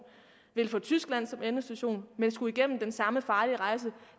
vil få tyskland som endestation og skal igennem den samme farlige rejse